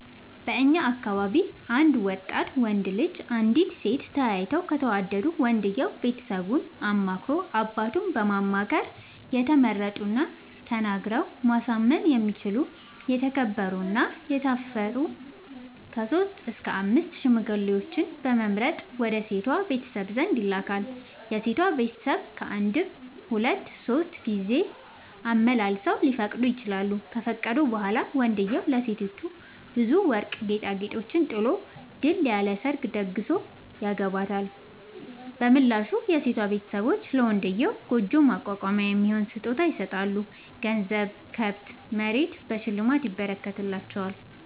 በእኛ አካባቢ አንድ ወጣት ወንድ እና አንዲት ሴት ተያይተው ከተወዳዱ ወንድየው ቤተሰቡን አማክሮ አባቱን በማማከር የተመረጡና ተናግረው ማሳመን የሚችሉ የተከበሩ እና የታፈሩ ከሶስት እስከ አምስት ሽማግሌዎችን በመምረጥ ወደ ሴቷ ቤተሰብ ዘንድ ይልካል። የሴቷ ቤተሰብ ካንድም ሁለት ሶስት ጊዜ አመላልሰው ሊፈቅዱ ይችላሉ። ከፈቀዱ በኋላ ወንድዬው ለሴቲቱ ብዙ ወርቅ ጌጣጌጦችን ጥሎ ድል ያለ ሰርግ ተደግሶ ያገባታል። በምላሹ የሴቷ ቤተሰቦች ለመንድዬው ጉጆ ማቋቋሚያ የሚሆን ስጦታ ይሰጣሉ ገንዘብ፣ ከብት፣ መሬት በሽልማት ይረከትላቸዋል።